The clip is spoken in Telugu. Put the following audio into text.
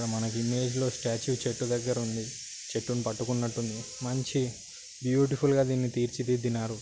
ఇక్కడ మనకు ఇమేజ్ లో స్టాచ్యూ చెట్టు దగ్గర ఉంది. చెట్టును పట్టుకున్నట్టు ఉంది మంచి బ్యూటిఫుల్ గా దీన్ని తీర్చిదిద్దినారు.